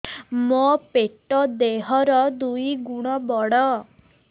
ମୋର ପେଟ ଦେହ ର ଦୁଇ ଗୁଣ ବଡ